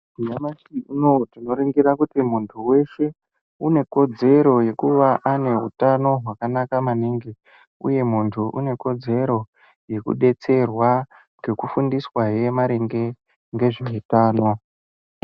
Nyamashi unowu tinoringira kuti muntu weshe une kodzero yekuva ane utano wakanaka maningi uye muntu une kodzero yekudetserwa ngekufundiswa hee maringe ngezveutano.